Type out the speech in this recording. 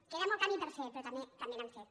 queda molt camí per fer però tam·bé n’hem fet